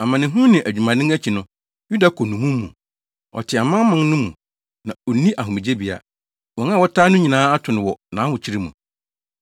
Amanehunu ne adwumaden akyi no, Yuda kɔ nnommum mu. Ɔte amanaman no mu na onni ahomegyebea. Wɔn a wɔtaa no nyinaa ato no wɔ nʼahokyere mu.